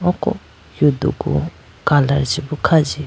ko yodugu color chi be khajibu.